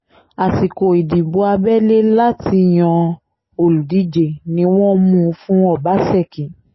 àsìkò ìdìbò abẹ́lé láti yan olùdíje ni wọ́n mú un fún ọbaṣẹ́kí